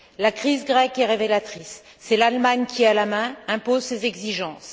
La crise grecque est révélatrice c'est l'Allemagne qui a la main, impose ses exigences.